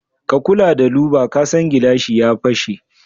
Ka kula da louver kasan gilashi ya fashe.